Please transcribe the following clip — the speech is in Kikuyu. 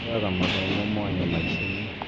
Moyaga mathomo mwanya maicainĩ